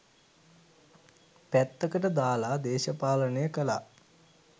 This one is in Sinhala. පැත්තකට දාලා දේශපාලනය කළා.